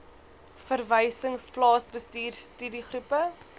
verwysings plaasbestuur studiegroepe